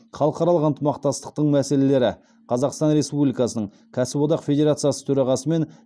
халықаралық ынтымақтастықтың мәселелері қазақстан республикасының кәсіподақ федерациясы төрағасы мен